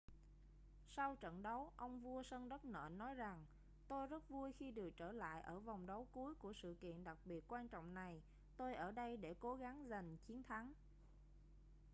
sau trận đấu ông vua sân đất nện nói rằng tôi rất vui khi được trở lại ở vòng đấu cuối của sự kiện đặc biệt quan trọng này tôi ở đây để cố gắng giành chiến thắng